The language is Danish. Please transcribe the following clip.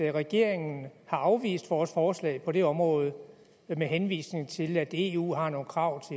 regeringen har afvist vores forslag på det område med henvisning til at eu har nogle krav